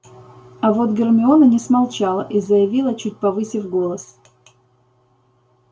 а вот гермиона не смолчала и заявила чуть повысив голос